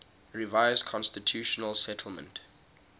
revised constitutional settlement